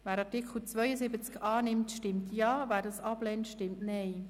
Wer den Artikel 72 annimmt, stimmt Ja, wer ihn ablehnt, stimmt Nein.